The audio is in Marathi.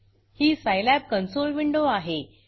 ही सिलाब consoleसाईलॅब कॉन्सोल विंडो आहे